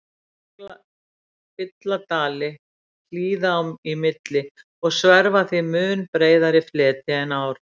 Jöklar fylla dali hlíða í milli og sverfa því mun breiðari fleti en ár.